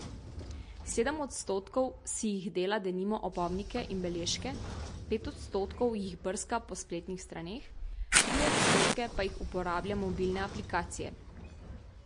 Sedem odstotkov si jih dela denimo opomnike in beležke, pet odstotkov jih brska po spletnih straneh, tri odstotke pa jih uporablja mobilne aplikacije.